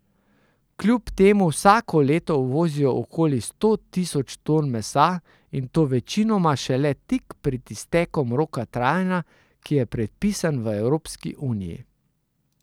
Kljub temu vsako leto uvozijo okoli sto tisoč ton mesa, in to večinoma šele tik pred iztekom roka trajanja, ki je predpisan v Evropski uniji.